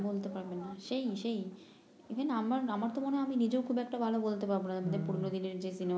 বলতে পারবে না সেই সেই এখানে আমার আমারতো মনে হয় আমি নিজেই খুব একটা ভাল বলতে পারবো না মানে পুরনো দিনের যে সিনেমা